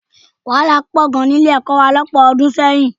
Wàhálà pọ̀ gan ní Ilé-ẹ̀kọ́ wa lọ́pọ̀ ọdún sẹ́yìn